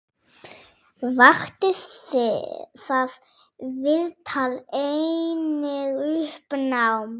Vakti það viðtal einnig uppnám.